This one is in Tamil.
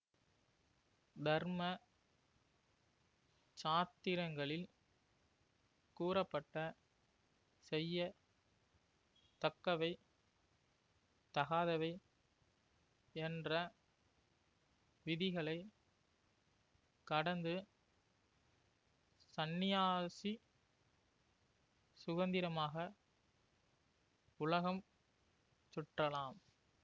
தர்ம சாத்திரங்களில் கூறப்பட்ட செய்ய தக்கவை தகாதவை என்ற விதிகளை கடந்து சந்நியாசி சுதந்திரமாக உலகம் சுற்றலாம்